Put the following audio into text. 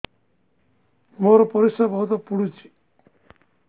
ମୋର ପରିସ୍ରା ବହୁତ ପୁଡୁଚି